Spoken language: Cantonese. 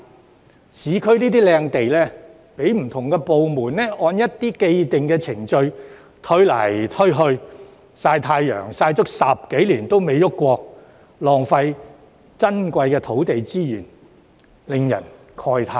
這些市區優質土地被不同部門按一些既定程序互相推卸，結果閒置10多年依然未能動工，導致浪費珍貴的土地資源，令人慨歎。